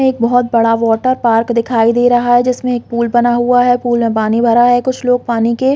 एक बहोत बड़ा वाटर पार्क दिखाई दे रहा है जिसमे एक पूल बना हुआ है पूल में पानी भरा हुआ है कुछ लोग पानी के--